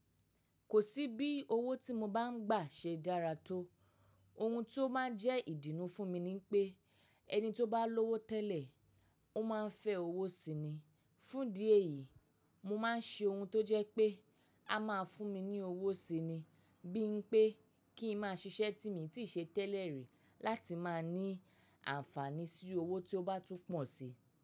Kò sí bí owó tí mo bá ń gbà ṣe dára tó. Ohun tó máa ń jẹ́ ìdunú fún mi ni pé, ẹni tó bá lówó tẹ́lẹ̀, ó máa ń fẹ́ owó si ni. Fún idi eyi, mo máa ń ṣe ohun tó jẹ́ pé, a máa fún mi ní owó si ni bí n pé kí n máa ṣiṣẹ́ tí mi tí ṣe tẹ́lẹ̀ rí láti máa ní àǹfààní sí owó tí ó bá tún pọ̀ si.